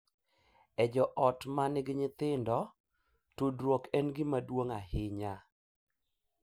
E joot ma nigi nyithindo, tudruok en gima duong’ ahinya